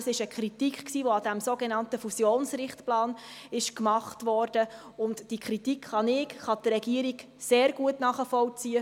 Das war eine Kritik, die an diesem sogenannten Fusionsrichtplan geübt wurde, und diese Kritik kann ich, kann die Regierung sehr gut nachvollziehen.